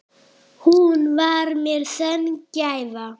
Hún var mér sönn gæfa.